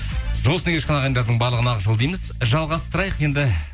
жол үстінде келе жатқан ағайындардың барлығына ақ жол дейміз жалғастырайық енді